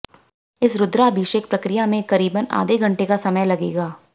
इस रुद्राभिषेक प्रकिया में करीबन आधे घंटे का समय लगेगा